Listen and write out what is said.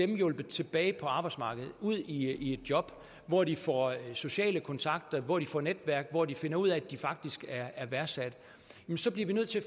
hjulpet tilbage på arbejdsmarkedet og ud i et job hvor de får sociale kontakter hvor de får netværk hvor de finder ud af at de faktisk er værdsat så bliver vi nødt til at